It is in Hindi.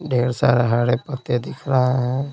ढेर सारे हरे पत्ते दिख रहे हैं।